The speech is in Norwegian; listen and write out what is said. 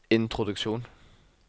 introduksjon